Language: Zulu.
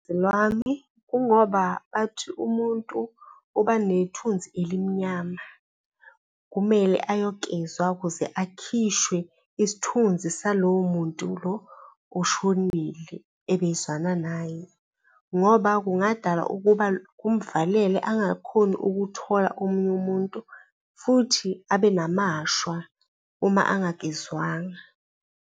Lwami, kungoba bathi umuntu uba nethunzi elimnyama, kumele ayogezwa ukuze akhishwe isithunzi salowo muntu lo oshonile ebezwana naye ngoba kungadala ukuba kumvalele angakhoni ukuthola omunye umuntu futhi abe namashwa uma angagezwanga.